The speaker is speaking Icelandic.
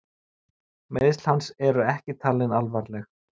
Meiðsl hans eru ekki talin alvarleg